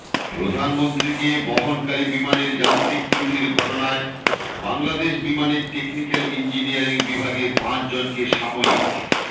প্রধানমন্ত্রীকে বহনকারী বিমানের যান্ত্রিক ত্রুটির ঘটনায় বাংলাদেশ বিমানের টেকনিক্যাল ইঞ্জিনিয়ারিং বিভাগের পাঁচজনকে সাময়িক